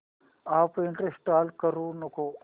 app install करू नको